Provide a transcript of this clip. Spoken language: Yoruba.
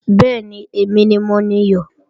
Bẹ́ẹ̀ni, èmi ni mo niyọ̀